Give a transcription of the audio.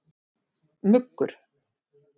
Muggur